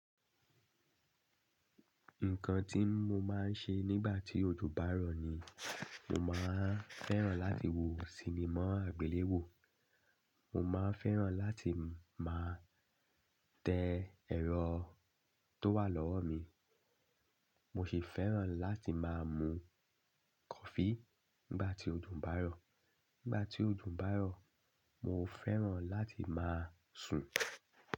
Nǹkan tí mo máa ń ṣe nígbà tí ojò bá rọ̀ ni, mo máa fẹ́ràn láti wo sinimá àgbéléwò. Mo máa fẹ́ràn láti máa tẹ́ ẹ̀rọ tó wà lọ́wọ́ mi. Mo sì fẹ́ràn láti máa mú kọfí nígbà tí ojò bá rọ̀. Nígbà tí ojò bá rọ̀, mo fẹ́ràn láti máa sùn.